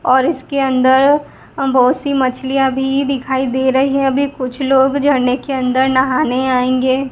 और इसके अंदर बहोत सी मछलियां भी दिखाई दे रही अभी कुछ लोग झरने के अंदर नहाने आयेंगे।